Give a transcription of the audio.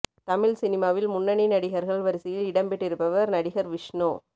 தமிழ் சினிமாவில் முன்னணி நடிகர்கள் வரிசையில் இடம் பெற்றிருப்பவர் நடிகர் விஷ்ணு